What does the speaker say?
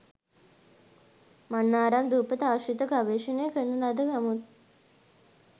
මන්නාරම් දුපත ආශ්‍රිතව ගවේෂණ කරන ලද නමුත්